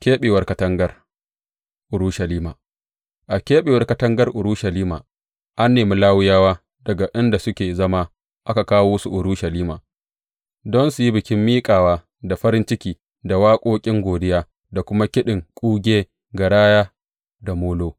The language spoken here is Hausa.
Keɓewar katangar Urushalima A keɓewar katangar Urushalima, an nemi Lawiyawa daga inda suke zama aka kawo su Urushalima don su yi bikin miƙawa da farin ciki da waƙoƙin godiya da kuma kiɗin kuge, garaya da molo.